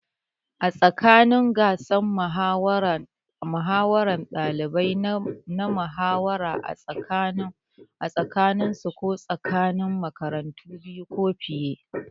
A ranar gasar muhawara, ɗalibai na muhawara a tsakaninsu ko tsakanin makarantu biyu ko fiye.